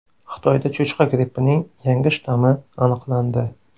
Xitoyda cho‘chqa grippining yangi shtammi aniqlandi.